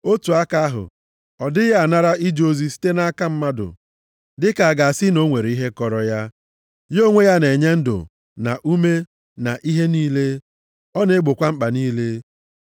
Otu aka ahụ, ọ dịghị anara ije ozi site nʼaka mmadụ, dịka a ga-asị na o nwere ihe kọrọ ya. Ya onwe ya na-enye ndụ na ume na ihe niile. Ọ na-egbokwa mkpa niile.